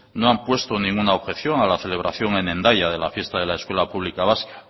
no han puesto ninguna objeción a la celebración en hendaya de la fiesta de la escuela pública vasca